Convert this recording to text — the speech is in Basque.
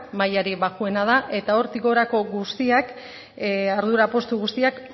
mailarik baxuena da eta hortik gorako guztiak ardura postu guztiak